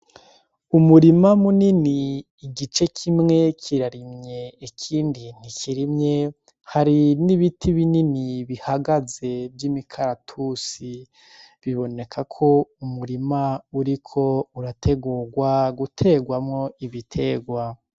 Umurima munini igice kimwe kirarimye ikindi ntikirimye, hari n'ibiti binini bihagaze vy'imikaratusi. Biboneka ko umurima uriko urategurwa guterwamwo ibiterwa.